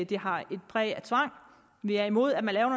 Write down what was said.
det har et præg af tvang vi er imod at man laver